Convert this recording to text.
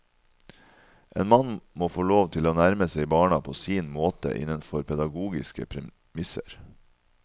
En mann må få lov til å nærme seg barna på sin måte, innenfor pedagogiske premisser.